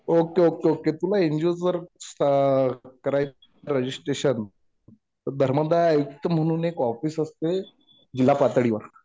Okay okay okay. तुला एनजीओच जर करायचं असेल रजिस्ट्रेशन तर धर्मदाय आयुक्त म्हणून एक ऑफिस असते. जिल्हा पातळीवर